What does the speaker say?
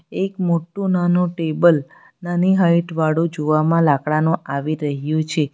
એક મોટું નાનો ટેબલ નાની હાઈટ વાળું જોવામાં લાકડાનુ આવી રહ્યું છે.